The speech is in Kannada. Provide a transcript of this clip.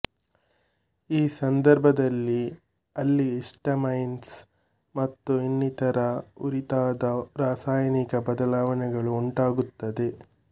ಈ ಸಂದರ್ಭದಲ್ಲಿ ಅಲ್ಲಿ ಹಿಸ್ಟಾಮೈನ್ಸ್ ಮತ್ತು ಇನ್ನಿತರ ಉರಿತದ ರಾಸಾಯನಿಕ ಬದಲಾವಣೆಗಳು ಉಂಟಾಗುತ್ತವೆ